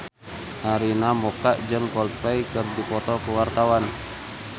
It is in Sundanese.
Arina Mocca jeung Coldplay keur dipoto ku wartawan